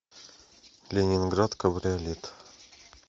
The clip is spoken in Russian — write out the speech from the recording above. ленинград кабриолет